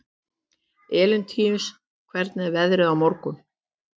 Elentínus, hvernig er veðrið á morgun?